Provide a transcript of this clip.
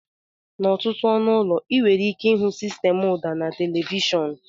N'ọtụtụ ọnụ ụlọ, ị nwere ike ịhụ sistemụ ụda na televishọn.